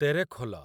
Terekhol